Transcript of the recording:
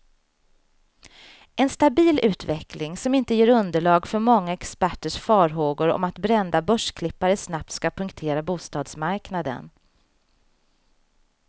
En stabil utveckling, som inte ger underlag för många experters farhågor om att brända börsklippare snabbt ska punktera bostadsmarknaden.